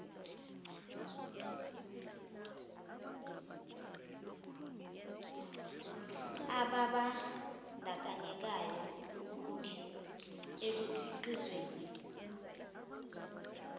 ababan dakanyekayo ekukhiqizweni